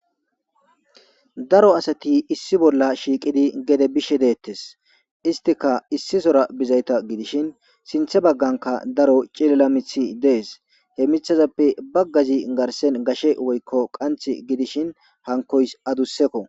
Daro asati issi bolla shiiqidi gede biishshe deettes istika issi sora bizayta gidishin sinthe bagganka daro cilila miiththi dees he miiththazappe baggazi garsen gashe woykko qanththi gidishin hankoys adussekko